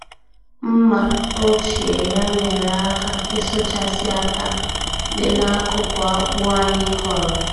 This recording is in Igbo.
Mmà ochie ya nyeere aka ịsụchasị átá dị n'akụkụ akpụ anyị kọrọ.